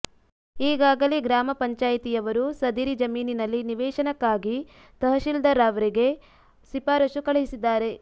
ಈಗಾಗಲೇ ಗ್ರಾಮ ಪಂಚಾಯಿತಿಯವರು ಸದರಿ ಜಮೀನಿನಲ್ಲಿ ನಿವೇಶನಕ್ಕಾಗಿ ತಹಸೀಲ್ದಾರ್ರವರಿಗೆ ಶಿಫಾರಸ್ಸು ಕಳುಹಿಸಿದ್ದಾರೆ